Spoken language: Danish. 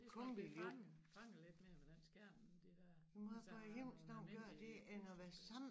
Hvis bliver fanget fanget lidt mere ved den skærm end de dér altså nogen almindelige puslespil